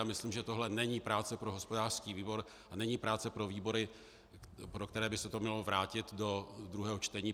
A myslím, že tohle není práce pro hospodářský výbor a není práce pro výbory, pro které by se to mělo vrátit do druhého čtení.